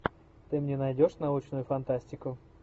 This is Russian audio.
ты мне найдешь научную фантастику